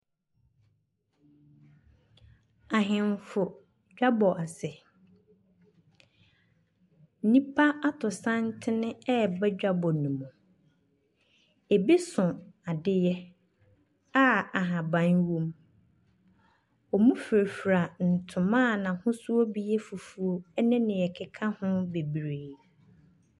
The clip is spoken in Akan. Ahenefo dwabɔ ase, nipa atu santene ɛba dwabɔ no mu. Ebi so adeɛ a ahaban wɔm, ɔmmu frafra ntoma a n'ahosuo bi yɛ fufuw ɛne nia ɛkeka ho beberee.